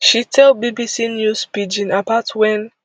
she tell bbc news pidgin about wen